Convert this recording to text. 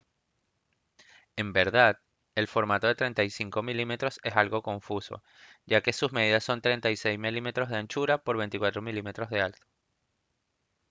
en verdad el formato de 35 mm es algo confuso ya que sus medidas son 36 mm de anchura por 24 mm de alto